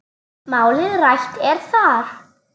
Málið rætt er þar.